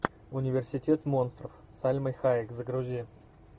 университет монстров с сальмой хайек загрузи